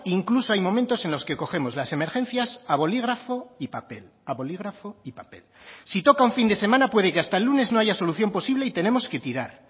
incluso hay momentos en los que cogemos las emergencias a bolígrafo y papel a bolígrafo y papel si toca un fin de semana puede que hasta el lunes no haya solución posible y tenemos que tirar